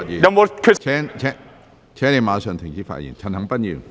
何俊賢議員，請立即停止發言。